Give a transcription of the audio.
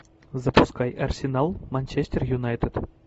запускай арсенал манчестер юнайтед